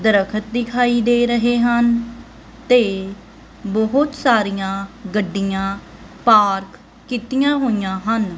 ਦਰਖਤ ਦਿਖਾਈ ਦੇ ਰਹੇ ਹਨ ਤੇ ਬਹੁਤ ਸਾਰੀਆਂ ਗੱਡੀਆਂ ਪਾਰਕ ਕੀਤੀਆਂ ਹੋਈਆਂ ਹਨ।